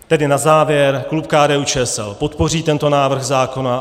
Tedy na závěr, klub KDU-ČSL podpoří tento návrh zákona.